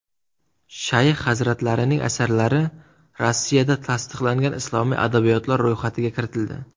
Shayx hazratlarining asarlari Rossiyada tasdiqlangan islomiy adabiyotlar ro‘yxatiga kiritildi.